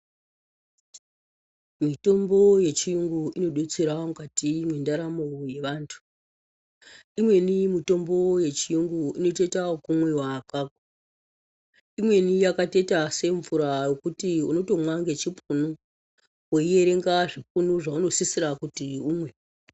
Mitombo yechiyungu inodetsera mukati mwendaramo yevantu, imweni mitombo yechiyungu inotoita yekumwiwa apapo, imweni yakatoita semvura yekuti unotoita yekumwa ngechipunu, woiyerenga zvipunu zveunosisira kuti umwe.